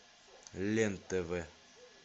лен тв